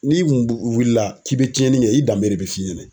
N'i kun wulila k'i be tiɲɛni kɛ, i danbe de bɛ f'i ɲɛna.